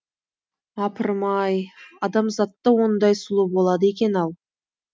апырым ай адамзатта ондай сұлу болады екен ау